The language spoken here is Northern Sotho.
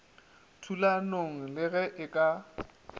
thulanong le ge e ka